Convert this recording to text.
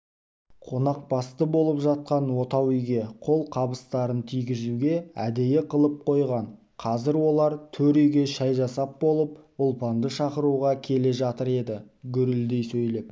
қонақбасты болып жатқан отау үйге қолқабыстарын тигізуге әдейі қалып қойған қазір олар төр үйге шай жасап болып ұлпанды шақыруға келе жатыр еді гүрілдей сөйлеп